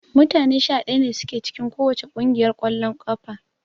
Mutane 11 ne sun ke cikin kowacce kungiyar kwallon kafa